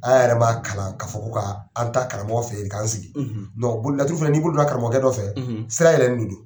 An yɛrɛ b'a kalan ka fɔ ko ka an taa karamɔgɔkɛ fɛ ye k'an sigi laturu fana n'i bolo don na karamɔgɔkɛ dɔ fɛ sira yɛlɛlen do.